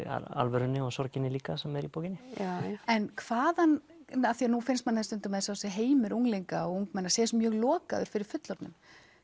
alvörunni og sorginni líka sem er í bókinni en hvaðan af því nú finnst manni eins og heimur unglinga og ungmenna sé mjög lokaður fyrir fullorðnum